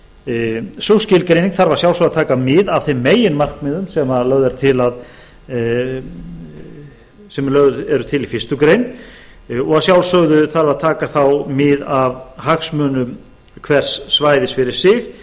svæði sú skilgreining þarf að sjálfsögðu að taka mið af þeim meginmarkmiðum sem lögð eru til í fyrstu grein og að sjálfsögðu þarf að taka mið af hagsmunum hvers svæði fyrir sig